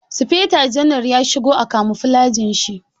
Sufeto janar ya shigo a kamuflajin shi.